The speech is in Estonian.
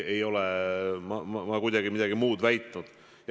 Ei ole ma ka kuidagi midagi muud väitnud.